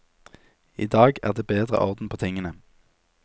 I dag er det bedre orden på tingene.